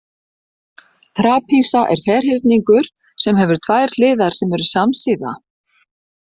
Trapisa er ferhyrningur sem hefur tvær hliðar sem eru samsíða.